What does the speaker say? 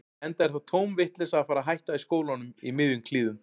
Enda er það tóm vitleysa að fara að hætta í skólanum í miðjum klíðum.